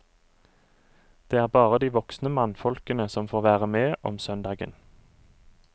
Det er bare de voksne mannfolkene som får være med om søndagen.